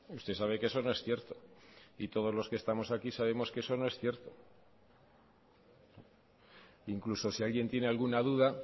usted sabe que eso no es cierto y todos los que estamos aquí sabemos que eso no es cierto incluso si alguien tiene alguna duda